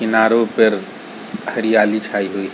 किनारों पर हरियाली छाई हुई --